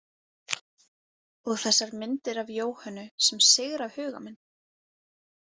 Og þessar myndir af Jóhönnu sem sigra huga minn.